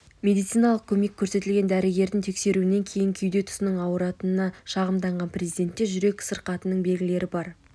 медициналық көмек көрсетілген дәрігердің тексеруінен кейін кеуде тұсының ауыратынына шағымданған президентте жүрек сырқатының белгілері бар